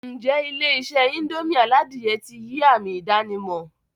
N jẹ́ Ilé-isé indomie aládìyẹ ti yii ami ìdànímò